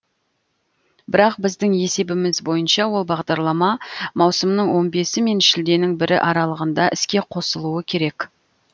бірақ біздің есебіміз бойынша ол бағдарлама маусымның он бесі мен шілденің бірі аралығында іске қосылуы керек